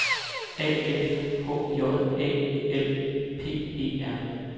A F H J Æ L P E R